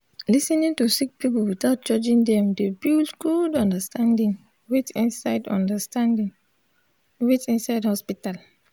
lis ten ing to sik pipul witout judging dem dey build gud understanding wait inside understanding wait inside hosptital